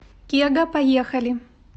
кега поехали